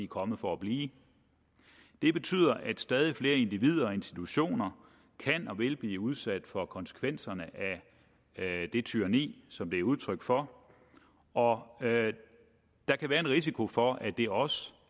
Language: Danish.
kommet for at blive det betyder at stadig flere individer og institutioner kan og vil blive udsat for konsekvenserne af det tyranni som det er udtryk for og der kan være en risiko for at det også